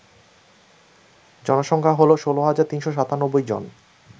জনসংখ্যা হল ১৬৩৯৭ জন